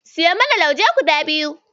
Siyo mana lauje guda biyu.